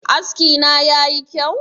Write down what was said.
Askina ya yi kyau?